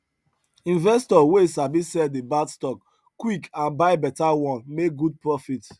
investor wey sabi sell the bad stock quick and buy better one make good profit